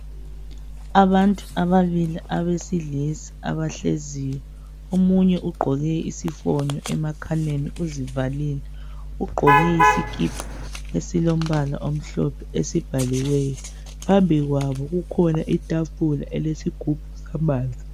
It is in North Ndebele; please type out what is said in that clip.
Abantu ababili abesilisa abahleziyo omunye ugqoke isifonyo emakhaleni uzivalile ugqoke isikipa esilombala omhlophe esibhaliweyo phambi kwabo kukhona itafula elilesigubhu samanzi.